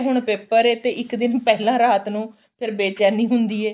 ਹੁਣ paper ਏ ਤੇ ਇੱਕ ਦਿਨ ਪਹਿਲਾਂ ਰਾਤ ਨੂੰ ਫੇਰ ਬੇਚੈਨੀ ਹੁੰਦੀ ਏ